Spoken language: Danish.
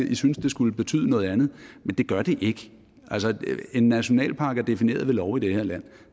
i synes at det skulle betyde noget andet men det gør det ikke en nationalpark er defineret ved lov i det her land